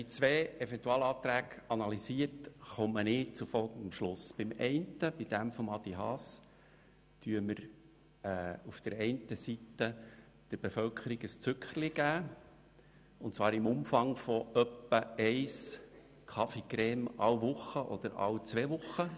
Mit dem Eventualantrag Haas geben wir durch die Steuersenkung bei den natürlichen Personen der Bevölkerung ein Zückerchen, und zwar im Umfang von etwa einem Café Crème pro Woche oder alle zwei Wochen.